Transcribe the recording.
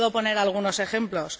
Le puedo poner algunos ejemplos.